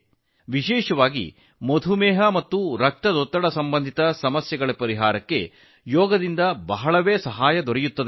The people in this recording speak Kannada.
ವಿಶೇಷವಾಗಿ ಮಧುಮೇಹ ಮತ್ತು ರಕ್ತದೊತ್ತಡಕ್ಕೆ ಸಂಬಂಧಿಸಿದ ಸಮಸ್ಯೆಗಳಲ್ಲಿ ಯೋಗವು ಬಹಳಷ್ಟು ಸಹಾಯ ಮಾಡುತ್ತದೆ